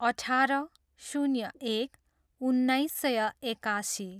अठार, शून्य एक, उन्नाइस सय एकासी